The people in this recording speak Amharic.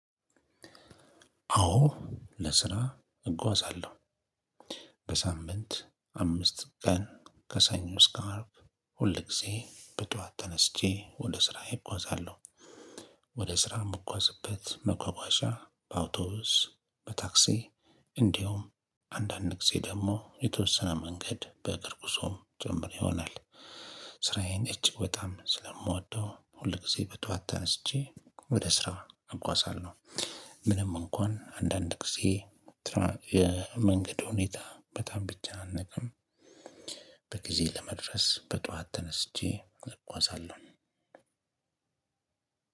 አዎ ለስራ እጓዛለሁ። በሳምንት አምስት ቀን ከሰኞ እስከ አርብ ሁል ጊዜ በጠዋት ተነስቼ ወደ ስራዬ እጓዛለሁ። ወደ ስራ የምጓዝበት መጓጓዣ በአውቶውስ በታክሲ እንዲሁም አንዳንድ ጊዜ ደግሞ የተወሰነ መንገድ በእግር ጉዞም ጭምር ይሆናል። ስራዬን እጅግ በጣም ስለምወደው ሁል ጊዜ በጠዋት ተነስቼ ወደ ስራ አጓዛለሁ። ምንም እንኳን አንዳንድ ጊዜ የመንገድ ሁኔታ በጣም ቢጨናነቅም በጊዜ ለመድረስ በጧት ተነስቼ እጓዛለሁ።